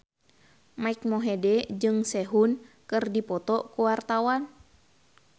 Mike Mohede jeung Sehun keur dipoto ku wartawan